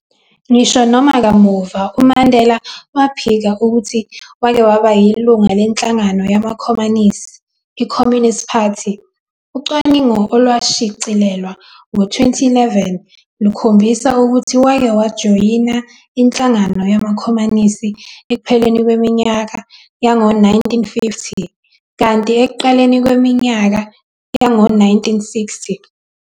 Ngisho noma kamuva uMandela waphika ukuthi wake waba yilunga lenhlangano yamakhomanisi, i-Communist Party, ucwaningo olwashicilelwa ngo-2011, lukhombisa ukuthi wake wayijoyina inhlangano yamakhomanisi ekupheleni kweminyaka yango 1950, kanti ekuqaleni kweminyaka yango 1960.